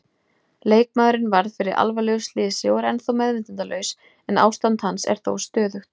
Leikmaðurinn varð fyrir alvarlegu slysi og er ennþá meðvitundarlaus en ástand hans er þó stöðugt.